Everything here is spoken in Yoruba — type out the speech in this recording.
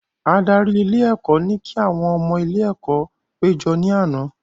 Adarí ilé ẹ̀kọ́ ní kí àwọn ọmọ ilé ẹ̀kọ́ pé jọ ní àná